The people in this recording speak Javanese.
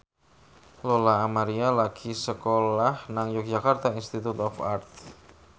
Lola Amaria lagi sekolah nang Yogyakarta Institute of Art